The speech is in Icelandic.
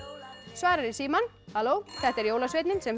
svarar í símann halló þetta er jólasveinninn sem